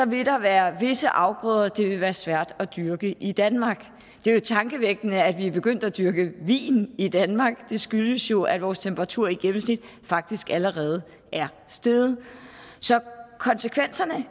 vil der være visse afgrøder det vil være svært at dyrke i danmark det er jo tankevækkende at vi er begyndt at dyrke vin i danmark det skyldes jo at vores temperatur i gennemsnit faktisk allerede er steget så konsekvenserne